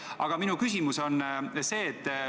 Aga minu küsimus on see.